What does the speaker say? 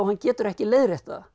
getur ekki leiðrétt það